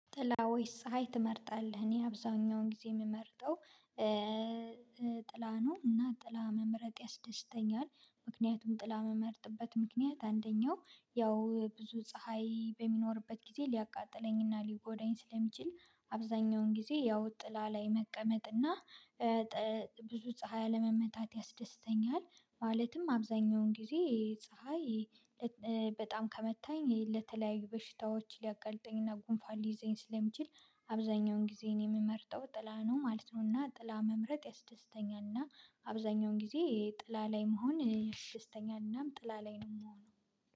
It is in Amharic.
ጥላ ወይስ ፀሀይ ትመርጣለህ? እኔ አብዛኛውን ጊዜ የምመርጠው ጥላ ነው እና ጥላ መምረጥ ያስደስተኛል ምክንያቱም ጥላ እምመርጥበት ምክንያት አንደኛው ያው ብዙ ፀሀይ በሚኖርበት ጊዜ ሊያቃጥለኝና ሊጎዳኝ ስለሚችል አብዛኛውን ጊዜ ያው ጥላ ላይ መቀመጥና ጠ ብዙ ፀሀይ አለመመታት ያስደስተኛል ማለትም አብዛኛውን ጊዜ ፀሀይ በጣም ከመታኝ ለተለያዩ በሽታዎች ሊያቀልጠኝና ጉንፋን ሊይዘኝ ስለሚችል አብዛኛውን ጊዜ የምመርጠው ጥላ ነው ማለት ነው እና ጥላ መምረጥ ያስደስተኛል እና አብዛኛውን ጊዜ ጥላ ላይ መሆን ያስደስተኛልና ጥላ ላይ ነው የምሆነው